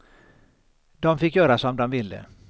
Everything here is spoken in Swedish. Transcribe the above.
De fick göra som de ville.